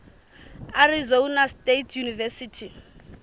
arizona state university